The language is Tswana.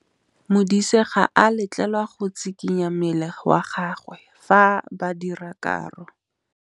Modise ga a letlelelwa go tshikinya mmele wa gagwe fa ba dira karô.